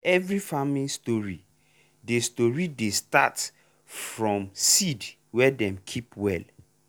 every farming story dey story dey start from seed wey dem keep well.